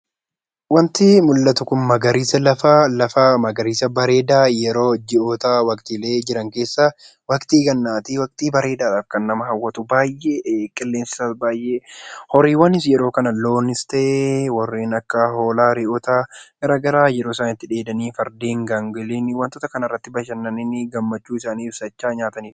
Wanti mul'atu kun magariisa lafaa magariisa bareedaa ji'oota waqtiilee jiran keessaa waqtii gannaati waqtii bareedaa kan nama hawwatu qilleensi isaa baay'ee. Horiiwwanis yeroo kana loonis ta'ee hoolaa, re'oota garaagaraa itti dheedanii fardeen, gaangolii wantoota kanarratti gammadanii gammachuu isanii ibsatanidha.